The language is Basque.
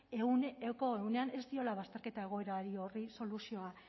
ehuneko ehunean ez diola bazterketa egoera horri soluzioa